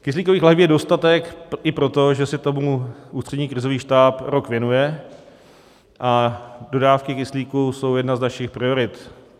Kyslíkových lahví je dostatek, i proto, že se tomu Ústřední krizový štáb rok věnuje, a dodávky kyslíku jsou jedna z našich priorit.